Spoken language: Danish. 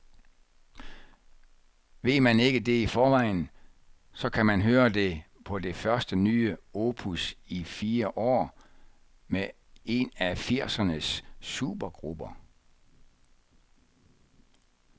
Ved man ikke det i forvejen, så kan man høre det på det første nye opus i fire år med en af firsernes supergrupper.